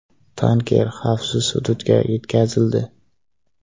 Tanker xavfsiz hududga yetkazildi.